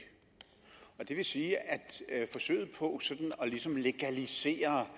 det vil sige at forsøget på ligesom at legalisere